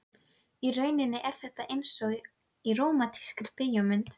Í rauninni er þetta einsog í rómantískri bíómynd.